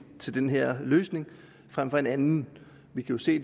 til den her løsning frem for den anden vi kan se